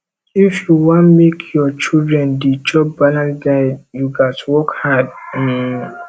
if you wan make your children dey chop balanced diet you gats work hard um